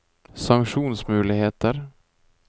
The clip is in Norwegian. sanksjonsmuligheter